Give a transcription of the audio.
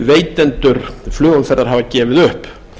veitendur flugumferðar hafa gefið upp